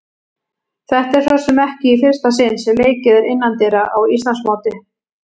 Þetta er svo sem ekki í fyrsta sinn sem leikið er innandyra í Íslandsmóti.